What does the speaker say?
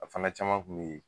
A fana caman Kun y'o ye.